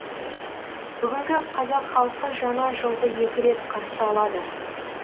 бүгінгі қазақ халқы жаңа жылды екі рет қарсы алады